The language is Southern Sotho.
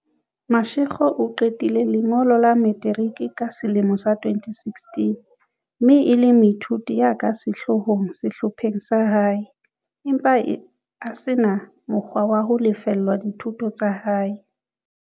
Mashego o qetile lengolo la materiki ka selemo sa 2016 mme e le moithuti ya ka sehloohong sehlopheng sa hae, empa a se na mo kgwa wa ho lefella dithuto tsa hae.